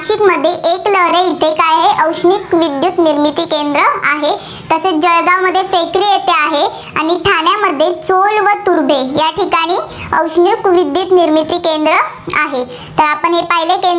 इथे काय आहे, औष्णिक विद्युत निर्मिती केंद्र आहे. तसेच जळगावमध्ये फेकरी येथे आहे, आणि ठाण्यामध्ये चोल व तुर्भे या ठिकाणी औष्णिक विद्युत निर्मिती केंद्र आहे. तर आपण हे पाहिलं.